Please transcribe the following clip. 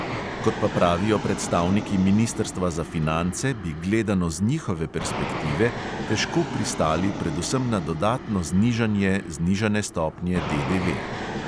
Kot pa pravijo predstavniki ministrstva za finance, bi gledano z njihove perspektive težko pristali predvsem na dodatno znižanje znižane stopnje DDV.